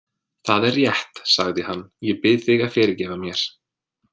Það er rétt, sagði hann,-ég bið þig að fyrirgefa mér.